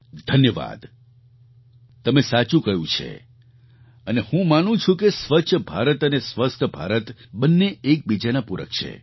ધન્યવાદ તમે સાચું કહ્યું છે અને હું માનું છું કે સ્વચ્છ ભારત અને સ્વસ્થ ભારત બંને એકબીજાના પૂરક છે